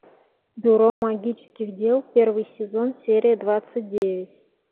бюро магических дел первый сезон серия двадцать девять